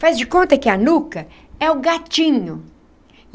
Faz de conta que a nuca é o gatinho.